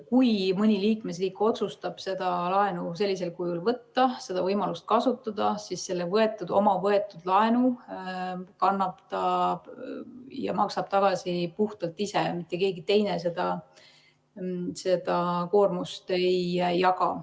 Kui mõni liikmesriik otsustab seda laenu sellisel kujul võtta, seda võimalust kasutada, siis oma võetud laenu maksab ta tagasi puhtalt ise, mitte keegi teine seda koormust ei jaga.